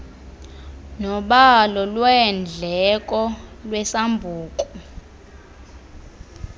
nobalo lweendleko lwesambuku